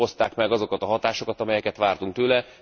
Mert nem hozták meg azokat a hatásokat, amelyeket vártunk tőle.